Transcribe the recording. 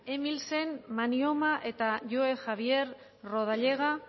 emilsen manyoma eta joe javier rodallega